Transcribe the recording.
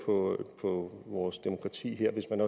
på på vores demokrati hvis man